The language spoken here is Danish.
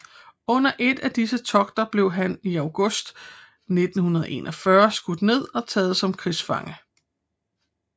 Under et af disse togter blev han i august 1941 skudt ned og taget som krigsfange